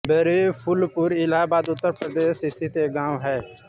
बेरुए फूलपुर इलाहाबाद उत्तर प्रदेश स्थित एक गाँव है